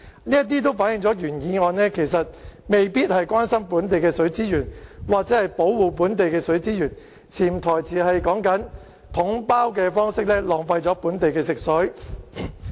這些均反映出原議案未必關心本地的水資源或保護本地的水資源，潛台詞是統包的方式浪費本地的食水。